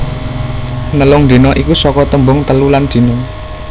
Nelung dina iku saka tembung telu lan dina